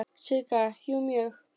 Sigga: Jú, mjög.